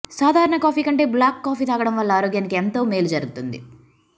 సాధారణ కాఫీ కంటే black coffee తాగడం వల్ల ఆరోగ్యానికి ఎంతో మేలు జరుగుతుంది